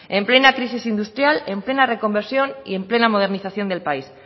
en plena crisis industrial en plena reconversión y en plena modernización del país